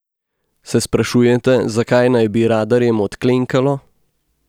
Se sprašujete, zakaj naj bi radarjem odklenkalo?